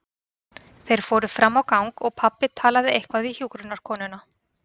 Þeir fóru fram á gang og pabbi talaði eitthvað við hjúkrunarkonu.